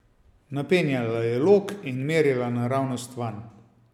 Napenjala je lok in merila naravnost vanj!